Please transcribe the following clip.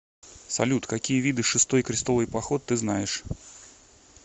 салют какие виды шестой крестовый поход ты знаешь